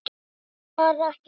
Þær eru bara ekki nýttar.